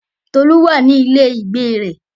Tolu wà ní ilé ìgbé rẹ̀.